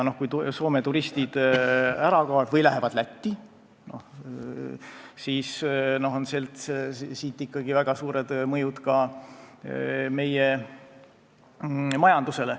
Kui Soome turistid ära kaovad või lähevad Lätti, siis tekivad ikkagi väga suured mõjud ka meie majandusele.